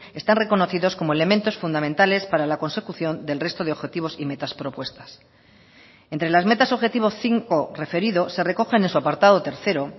están reconocidos como elementos fundamentales para la consecución del resto de objetivos y metas propuestas entre las metas objetivo cinco referido se recogen en su apartado tercero